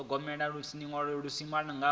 u thogomela ho livhiswaho kha